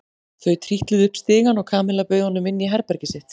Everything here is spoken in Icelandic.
Þau trítluðu upp stigann og Kamilla bauð honum inn í herbergið sitt.